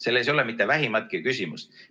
Selles ei ole mitte vähimatki küsimust.